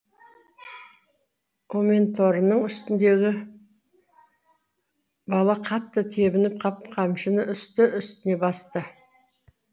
өменторының үстіндегі бала қатты тебініп қап қамшыны үсті үстіне басты